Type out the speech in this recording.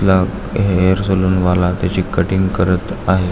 ल hair salon वाला त्याची हेयर कटिंग करत आहे.